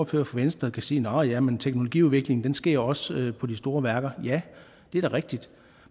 for venstre kan sige nå ja men teknologiudviklingen sker også på de store værker ja det er da rigtigt